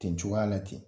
Ten cogoya la ten